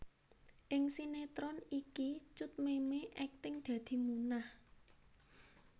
Ing sinetron iki Cut Memey akting dadi Munah